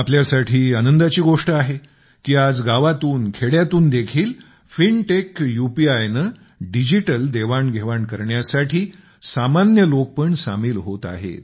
आपल्यासाठी आनंदाची गोष्ट आहे की आज गावातून खेड्यातून देखील fintech UPI fintech UPI ने डिजिटल देवाण घेवाण करण्यासाठी सामान्य लोक पण सामील होत आहेत